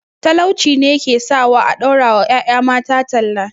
Talauci ne ya ke sawa a ɗaura wa ƴaƴa mata talla